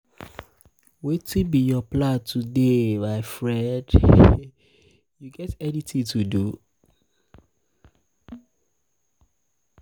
wetin be your plan today my um friend you um get anything to do? um